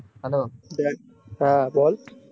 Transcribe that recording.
hello হ্যাঁ বল